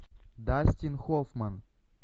дастин хоффман